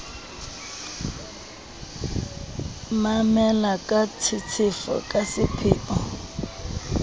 mamela ka tshetshefo ka sepheo